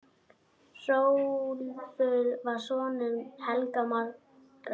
Hrólfur var sonur Helga magra.